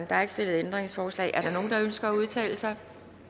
der er ikke stillet ændringsforslag er der nogen der ønsker at udtale sig